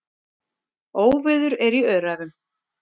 Óveður er í Öræfum.